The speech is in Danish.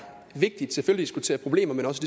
vigtigt at diskutere problemer men også